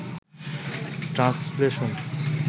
translation